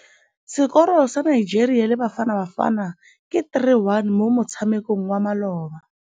Sekôrô sa Nigeria le Bafanabafana ke 3-1 mo motshamekong wa malôba.